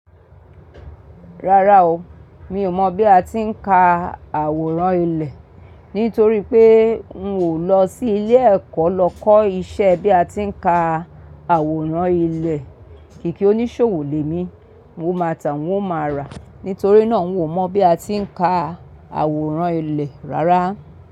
Rárá o, mi ò mọ̀ bí a ti ń ka àwòrán ilẹ̀, nítorí pé n ò lọ sí ilé ẹ̀kọ́ lọ kọ́ iṣẹ́ bí a ti ń ka àwòrán ilẹ̀. Kìkì oníṣòwò lè mi, mo máa tà mo máa rà, nítorí náà n ò mọ̀ bí a ti ń ka àwòrán ilẹ̀ rárá.